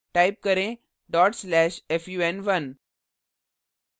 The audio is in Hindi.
type करें/fun1